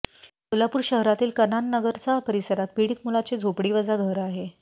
कोल्हापूर शहरातील कनाननगरचा परिसरात पीडित मुलाचे झोपडीवजा घर आहे